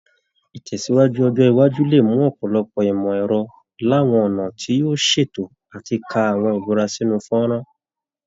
Ìtẹ̀síwájú ọjọ́ iwájú lè mú ọ̀pọ̀lọpọ̀ ìmọ̀ ẹ̀rọ làwọn ọ̀nà tí yóò ṣètò àti ká àwọn ìbúra sínú fọ́nrán